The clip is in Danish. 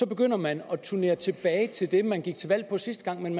begynder man at vende tilbage til det man gik til valg på sidste gang men